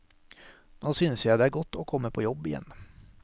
Nå synes jeg det er godt å komme på jobb igjen.